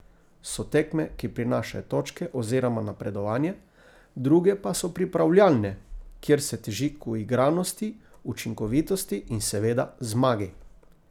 So tekme, ki prinašajo točke oziroma napredovanje, druge pa so pripravljalne, kjer se teži k uigranosti, učinkovitosti in, seveda, zmagi.